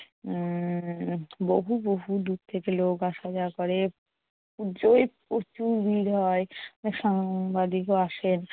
উম বহু~ বহুদূর থেকে লোক আসা-যাওয়া করে। পুজোয় প্রচুর ভিড় হয়, সাংবাদিকও আসেন।